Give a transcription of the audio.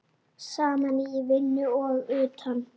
Saman í vinnu og utan.